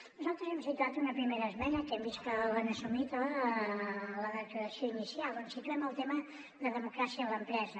nosaltres hem situat una primera esmena que hem vist que l’han assumit a la declaració inicial on situem el tema de democràcia a l’empresa